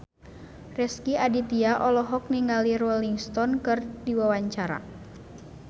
Rezky Aditya olohok ningali Rolling Stone keur diwawancara